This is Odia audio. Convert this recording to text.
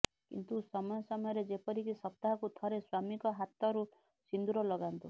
କିନ୍ତୁ ସମୟ ସମୟରେ ଯେପରିକି ସପ୍ତାହକୁ ଥରେ ସ୍ୱାମୀଙ୍କ ହାତରୁ ସିନ୍ଦୁର ଲଗାନ୍ତୁ